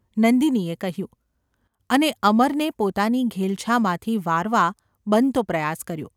’ નંદિનીએ કહ્યું, અને અમરને પોતાની ઘેલછામાંથી વારવા બનતો પ્રયાસ કર્યો.